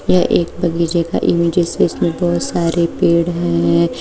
यह एक बगीचे का इमेज है इस में बहुत सारे पेड़ हैं।